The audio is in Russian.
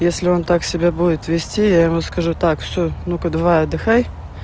если он так себя будет вести я ему скажу так всё ну-ка давай отдыхай